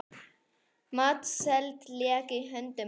Matseld lék í höndum hennar.